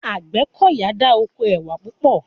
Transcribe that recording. Àgbẹ́kọ̀yà dá oko ẹwà púpọ̀